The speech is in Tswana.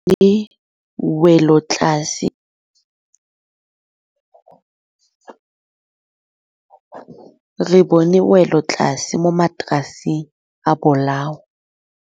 Re bone wêlôtlasê mo mataraseng a bolaô.